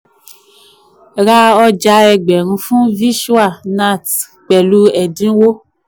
ra ọja ẹgbẹ̀rún fún vishwa nath pẹ̀lú ẹ̀dínwó.